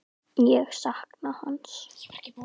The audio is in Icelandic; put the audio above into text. Ég sakna hans.